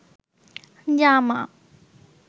জামা